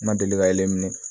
N ma deli ka yeli minɛ